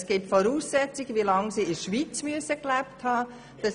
Es gibt Voraussetzungen, wie lange sie in der Schweiz gelebt haben müssen.